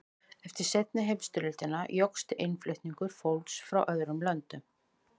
eftir seinni heimsstyrjöldina jókst innflutningur fólks frá öðrum löndum